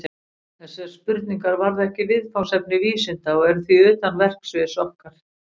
Þessar spurningar varða ekki viðfangsefni vísinda og eru því utan verksviðs okkar.